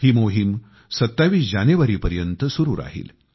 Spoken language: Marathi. ही मोहीम 27 जानेवारीपर्यंत सुरू राहील